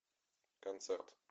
концерт